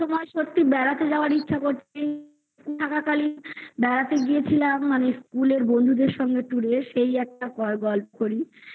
বরফের সময় সত্যি বেড়াতে যাওয়ার ইচ্ছা করছে থাকাকালীন বেড়াতে গিয়েছিলাম মানে school -এর বন্ধুদের সঙ্গে tour এ সেই একটা গল্প করি